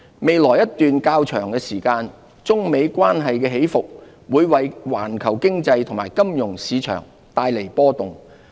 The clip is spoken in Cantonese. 未來一段較長時間，中美關係的起伏會為環球經濟和金融市場帶來波動。